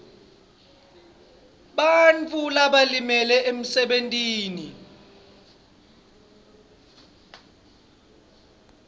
bantfu labalimele emsebentini